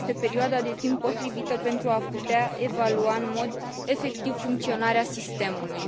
este perioada de timp potrivită pentru a putea evalua în mod efectiv funcționarea sistemului.